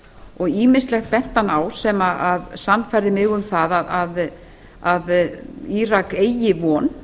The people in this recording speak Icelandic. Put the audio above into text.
og ýmislegt benti hann á sem sannfærði mig um það að írak eigi von